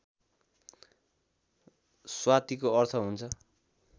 स्वातिको अर्थ हुन्छ